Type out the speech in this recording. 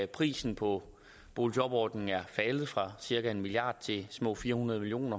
prisen på boligjobordningen er faldet fra cirka en milliard kroner til små fire hundrede million